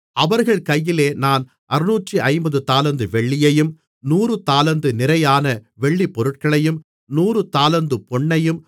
அவர்கள் கையிலே நான் 650 தாலந்து வெள்ளியையும் 100 தாலந்து நிறையான வெள்ளிப் பொருட்களையும் 100 தாலந்து பொன்னையும்